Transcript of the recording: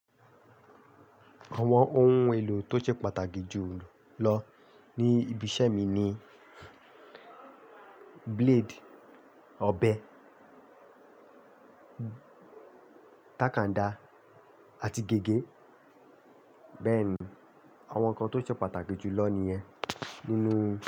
Àwọn ohún èlò tó ṣe pàtàkì jù lọ ní ibi iṣẹ́ mí ní blade, ọbẹ̀, takanda àti gègé. Bẹ́ẹ̀ ni, àwọn kàn tó ṣe pàtàkì jù lọ nìyẹn nínú.